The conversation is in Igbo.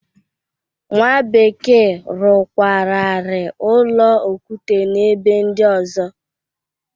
Nwa bekee rụkwararị ụlọ okute n'ebe ndị ọzọ.